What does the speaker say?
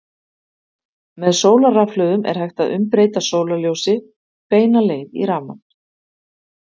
með sólarrafhlöðum er hægt að umbreyta sólarljósi beina leið í rafmagn